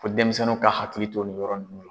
Fo denmisɛnninw ka hakili to ni yɔrɔ nun na.